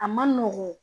A man nɔgɔn